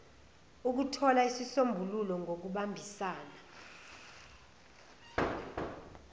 ukuthola izisombululo ngokubambisana